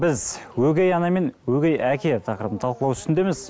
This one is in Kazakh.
біз өгей ана мен өгей әке тақырыбын талқылау үстіндеміз